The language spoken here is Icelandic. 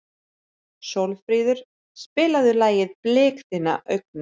Sólfríður, spilaðu lagið „Blik þinna augna“.